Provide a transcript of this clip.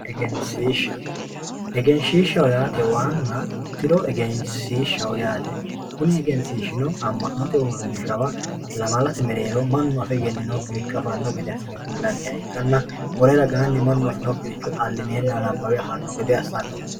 egensiishsha egensiishsha yaate waanna tiro egensiishsha yaate kuni egensiishshino ammanote uurrinshawa lamalate mereero mannu afe egenninokkiricho afanno gede assine kullanniha ikkanna wole ragaanni mannu afinokkiricho xallineenna nabbawe afanno gede assanorichooti.